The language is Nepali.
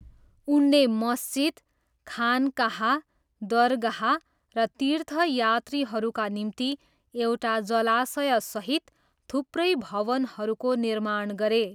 उनले मस्जिद, खानकाह, दरगाह र तीर्थयात्रीहरूका निम्ति एउटा जलाशयसहित थुप्रै भवनहरूको निर्माण गरे।